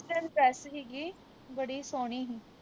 western ਹੀ ਗੀ ਬੜੀ ਸੋਹਣੀ ਹੀ